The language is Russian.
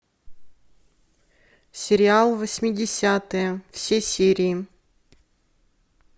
сериал восьмидесятые все серии